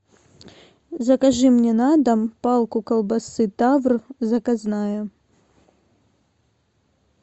закажи мне на дом палку колбасы тавр заказная